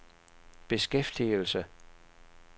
beskæftigelse